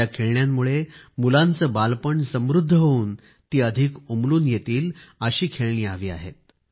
ज्या खेळण्यामुळे मुलांचे बालपण समृद्ध होवून ती अधिक उमलून येईल अशी खेळणी हवी आहेत